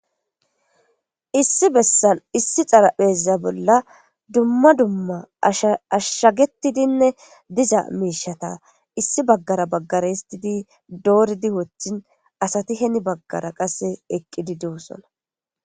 issi bessan issi xarapheeza bolla dumma dumma sashshagetidinne diza miishata issi baggara baggara histidi dooridi wothin asati heni baggara qasse eqqidi dewussona.